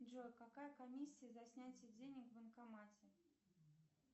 джой какая комиссия за снятие денег в банкомате